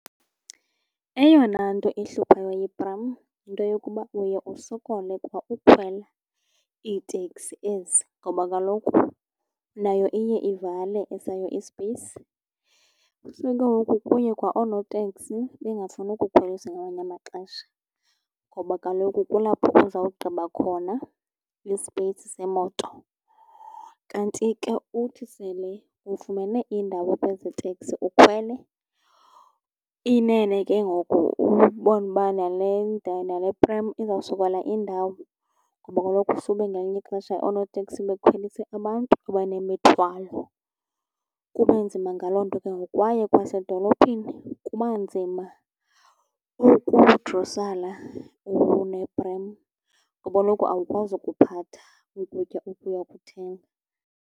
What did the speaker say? Eyona nto ihluphayo yeprem yinto yokuba uye usokole kwa ukhwela iiteksi ezi, ngoba kaloku nayo iye ivale esayo isipeyisi. So ke ngoku kuye kwa oonoteksi bengafuni ukukhwelisa ngamanye amaxesha ngoba kaloku kulapho uzawugqiba khona isipeyisi semoto. Kanti ke uthi sele ufumene indawo kwezo teksi ukhwele, inene ke ngoku ubona uba nale , nale prem izawusokola indawo ngoba kaloku sube ngelinye ixesha oonoteksi bekhwelise abantu abanemithwalo, kube nzima ngaloo nto ke ngoku. Kwaye kwasedolophini kuba nzima ukudrosala uneprem ngoba kaloku awukwazi ukuphatha ukutya oku uyakuthenga.